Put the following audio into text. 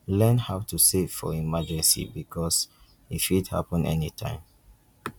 learn how to save for emergency bikos e fit hapun anytine